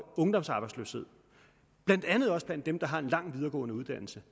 ungdomsarbejdsløshed blandt andet også blandt dem der har en lang videregående uddannelse